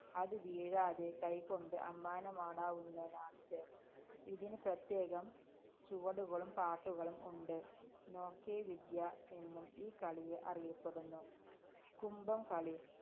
അത് വീഴാതെ കൈകൊണ്ട് അമ്മാനമാടുന്നതാണിത്. ഇതിന് പ്രത്യേകം ചുവടുകളും പാട്ടുകളും ഉണ്ട്. നോക്കേ വിദ്യ എന്നും ഈ കളി അറിയപ്പെടുന്നു. കുംഭം കളി